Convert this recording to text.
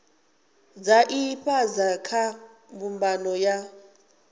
dza ifhasi kha mbumbano ya